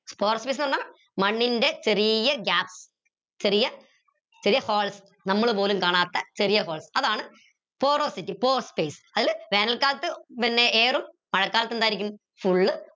pore space ന്ന് പറഞ്ഞ മണ്ണിൻറെ ചെറിയ gap ചെറിയ ചെറിയ holes നമ്മള് പോലും കാണാത്ത ചെറിയ holes അതാണ് porosity pore space അതിൽ വേനൽക്കാലത്ത് പിന്നെ air ഉം മഴക്കാലത്ത് എന്തായിരിക്കും full